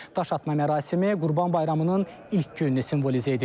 Daşatma mərasimi Qurban Bayramının ilk gününü simvolizə edir.